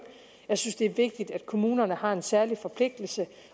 jeg synes det er vigtigt at kommunerne har en særlig forpligtelse